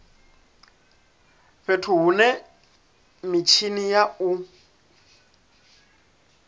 fhethu hune mitshini ya u